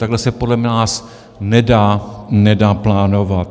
Takhle se podle nás nedá plánovat.